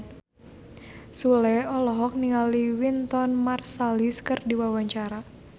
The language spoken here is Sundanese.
Sule olohok ningali Wynton Marsalis keur diwawancara